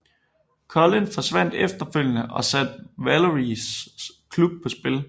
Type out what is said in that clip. Colin forsvandt efterfølgende og satte Valeries klub på spil